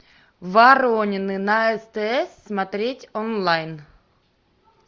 воронины на стс смотреть онлайн